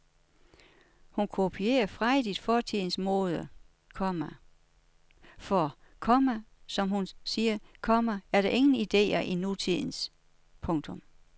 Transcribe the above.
Hun kopierer frejdigt fortidens mode, komma for, komma som hun siger, komma der er ingen ideer i nutidens. punktum